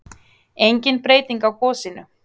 Engin breyting á gosinu